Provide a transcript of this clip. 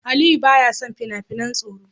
Aliyu baya son fina-finan tsoro.